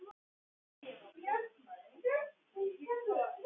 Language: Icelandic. Jagger, hvaða leikir eru í kvöld?